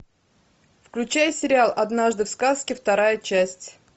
включай сериал однажды в сказке вторая часть